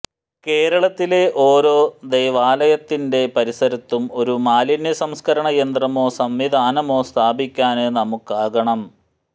കേരളത്തിലെ ഓരോ ദൈവാലയത്തിന്റെ പരിസരത്തും ഒരു മാലിന്യ സംസ്കരണ യന്ത്രമോ സംവിധാനമോ സ്ഥാപിക്കാന് നമുക്കാകണം